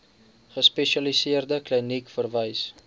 gespesialiseerde kliniek verwys